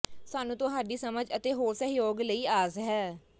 ਸਾਨੂੰ ਤੁਹਾਡੀ ਸਮਝ ਅਤੇ ਹੋਰ ਸਹਿਯੋਗ ਲਈ ਆਸ ਹੈ